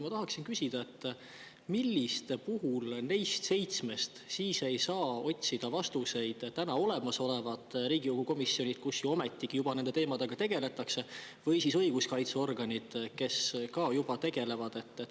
Ma tahaksin küsida, milliste puhul neist seitsmest ei saa otsida vastuseid olemasolevad Riigikogu komisjonid, kus ju ometigi juba nende teemadega tegeletakse, või siis õiguskaitseorganid, kes ka juba tegelevad.